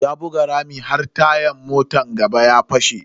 Ya buga rami har tayan motan gaba ya fashe.